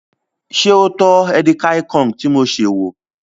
Ṣé o tọ́ edikaikong tí mo sè wò?